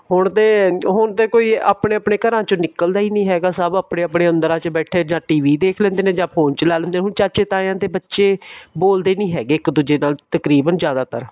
ਹੁਣ ਤੇ ਹੁਣ ਤੇ ਕੋਈ ਆਪਣੇ ਆਪਣੇ ਘਰਾਂ ਚੋ ਨਿਕਲਦਾ ਹੀ ਨਹੀਂ ਹੈਗਾ ਸਬ ਆਪਣੇ ਆਪਣੇ ਅੰਦਰਾਂ ਚ ਬੈਠੇ ਜਾ TV ਦੇਖ ਲਿੰਦੇ ਨੇ ਜਾ phone ਚਲਾ ਲੇਂਦੇ ਨੇ ਹੁਣ ਚਾਚੇ ਤਾਇਆ ਦੇ ਬੱਚੇ ਦੇ ਬੋਲਦੇ ਹੀ ਨਹੀਂ ਹੈਗੇ ਇੱਕ ਦੁੱਜੇ ਨਾਲ ਤਕਰੀਬਨ ਜਿਆਦਾਤਰ